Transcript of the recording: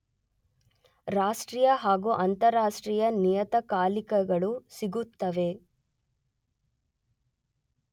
ರಾಷ್ಟ್ರೀಯ ಹಾಗೂ ಅಂತರರಾಷ್ಟ್ರೀಯ ನಿಯತಕಾಲಿಕಗಳು ಸಿಗುತ್ತವೆ.